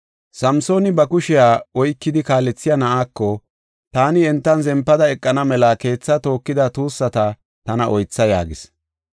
Samsooni ba kushiya oykidi kaalethiya na7aako, “Taani entan zempada eqana mela keethaa tookida tuussata tana oytha” yaagis.